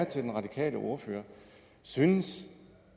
til den radikale ordfører er synes